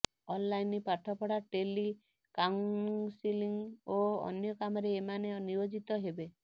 online ପାଠ ପଢ଼ା telecounselling ଓ ଅନ୍ୟ କାମରେ ଏମାନେ ନିୟୋଜିତ ହେବେ